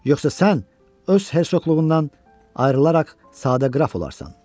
Yoxsa sən öz hersoqluğundan ayrılaraq sadə qraf olarsan.